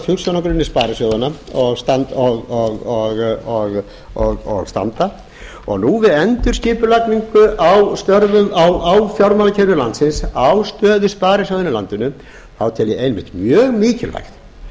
hugsjónagrunni sparisjóðanna og standa og nú við endurskipulagningu á fjármálakerfi landsins á stöðu sparisjóðanna í landinu tel ég einmitt mjög mikilvægt